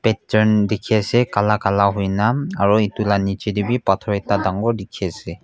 ekchan dekhi ase kala kala hoina aru etu laga niche tebhi pathar ekta dekhi ase.